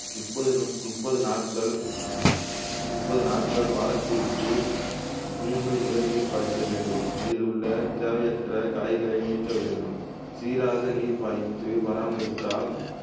முப்பது முப்பது நாட்கள் முப்பது நாட்கள் வாரத்திற்கு மூன்று முறை நீர் பாய்ச்ச வேண்டும் அதிலுள்ள தேவையற்ற களைகளை நீக்க வேண்டும் சீராக நீர் பாய்ச்சி பராமரித்தால்